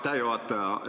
Aitäh juhataja!